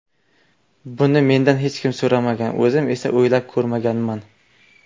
Buni mendan hech kim so‘ramagan, o‘zim esa o‘ylab ko‘rmaganman.